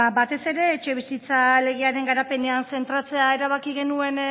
ba batez ere etxebizitza legearen garapenean zentratzea erabaki genuen